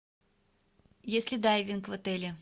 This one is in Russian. есть ли дайвинг в отеле